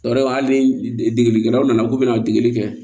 O yɛrɛ hali ni degelikɛlaw nana k'u bɛ na deli kɛ